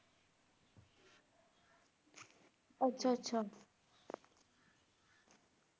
ਅੱਛਾ-ਅੱਛਾ